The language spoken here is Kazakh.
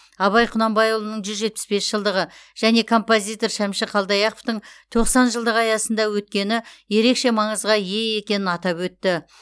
абай құнанбайұлының жүз жетпіс бес жылдығы және композитор шәмші қалдаяқовтың тоқсан жылдығы аясында өткені ерекше маңызға ие екенін атап өтті